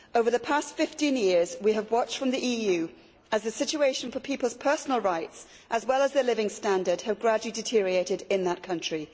Over the past 15 years we have watched from the EU as the situation for people's personal rights, as well as their living standards, has gradually deteriorated in that country.